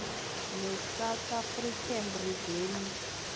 nesouth african revenue